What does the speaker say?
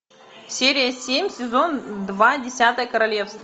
серия семь сезон два десятое королевство